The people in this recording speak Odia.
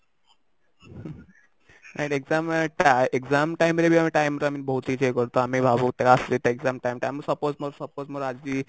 exam time re ବି ଆମେ time ର ଆମେ ବହୁତ କିଛି enjoy କରୁ ତ ଆମେ ଭାବୁ tough ଏଇଟା exam time ଟା suppose ମୋର ଆଜି